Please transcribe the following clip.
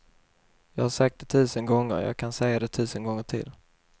Jag har sagt det tusen gånger, jag kan säga det tusen gånger till.